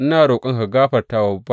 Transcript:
Ina roƙonka ka gafarta wa bawanka.